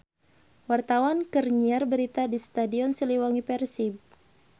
Wartawan keur nyiar berita di Stadion Siliwangi Persib